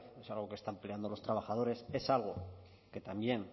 es algo que está empleando los trabajadores es algo que también